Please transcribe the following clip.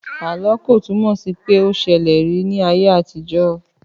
Àlọ́ ko túnmò sí pé o ṣẹlẹ̀ rí ní ayé àtijọ́.